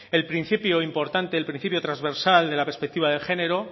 el principio importante el principio transversal de la perspectiva de género